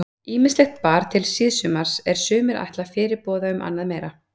Ýmislegt bar til síðsumars er sumir ætla fyrirboða um annað meira.